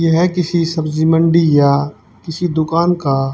यह किसी सब्जी मंडी या किसी दुकान का--